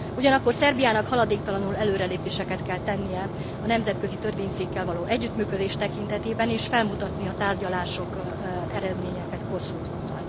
Ugyanakkor Szerbiának haladéktalanul előrelépéseket kell tennie a nemzetközi törvényszékkel való együttműködés tekintetében és felmutatni a tárgyalási eredményeket Koszovóval.